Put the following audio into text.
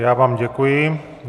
Já vám děkuji.